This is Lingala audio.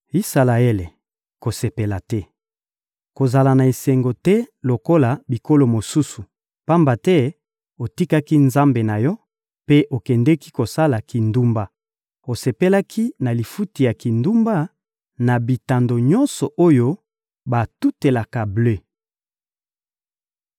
Isalaele, kosepela te; kozala na esengo te lokola bikolo mosusu; pamba te otikaki Nzambe na yo mpe okendeki kosala kindumba; osepelaki na lifuti ya kindumba na bitando nyonso oyo batutelaka ble.